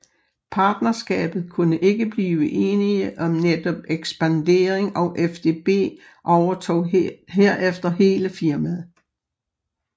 Partnerskabet kunne ikke blive enige om netop ekspandering og FDB overtog herefter hele firmaet